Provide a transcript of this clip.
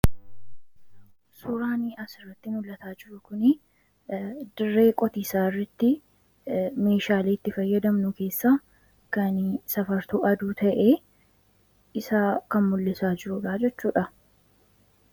Suuraan asirratti mul'ataa jiru kunii, dirree qotiisaa irrattii Meeshaalee itti fayyadamnu keessaa kan safartuu aduu ta'ee isa kan mul'isaa jiru jechuudha.